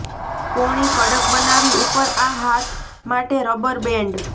કોણી કડક બનાવી ઉપર આ હાથ માટે રબર બેન્ડ